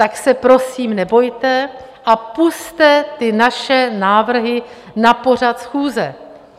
Tak se prosím nebojte a pusťte ty naše návrhy na pořad schůze.